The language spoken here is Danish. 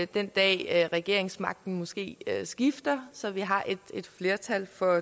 den dag regeringsmagten måske skifter så vi har et flertal for